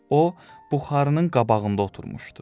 O buxarının qabağında oturmuşdu.